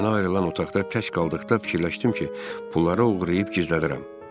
Mənə ayrılan otaqda tək qaldıqda fikirləşdim ki, pulları oğurlayıb gizlədirəm.